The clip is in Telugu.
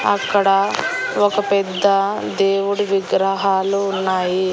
అక్కడ ఒక పెద్ద దేవుడి విగ్రహాలు ఉన్నాయి.